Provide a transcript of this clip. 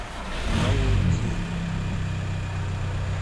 валуйки